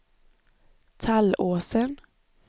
Tallåsen